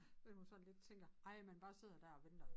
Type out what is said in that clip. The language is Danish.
Men hun sådan lidt tænker ej man bare sidder dér og venter